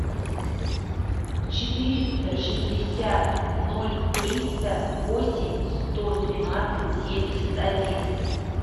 четыреста шестьдесят ноль триста восемь сто тринадцать семьдесят один